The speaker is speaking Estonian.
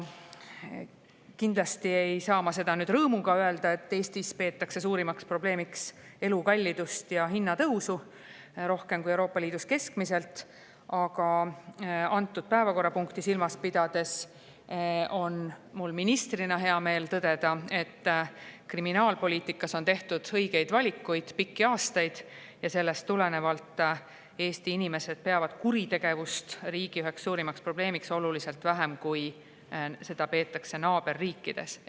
Kindlasti ei saa ma seda nüüd rõõmuga öelda, et Eestis peetakse suurimaks probleemiks elukallidust ja hinnatõusu, rohkem kui Euroopa Liidus keskmiselt, aga antud päevakorrapunkti silmas pidades on mul ministrina hea meel tõdeda, et kriminaalpoliitikas on aastaid tehtud õigeid valikuid ja sellest tulenevalt peavad Eesti inimesed kuritegevust riigi üheks suurimaks probleemiks oluliselt vähem, kui seda peetakse naaberriikides.